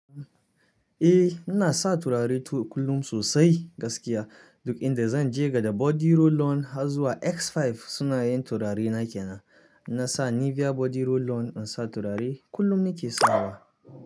Eh, ina sa turare kullum sosai gaskiya. Duk inda zan je gada body roll on har zuwa X5 suna yen turare na kenan. Na sa Nivea body roll on in sa turare kullum nike sawa.